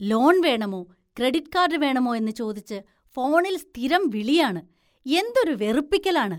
Loan‍ വേണമോ, credit card വേണമോയെന്ന് ചോദിച്ച് ഫോണില്‍ സ്ഥിരം വിളിയാണ്, എന്തൊരു വെറുപ്പിക്കലാണ്.